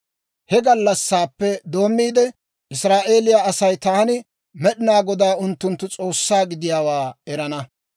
He gallassaappe doommiide, Israa'eeliyaa Asay taani Med'inaa Godaa unttunttu S'oossaa gidiyaawaa erana.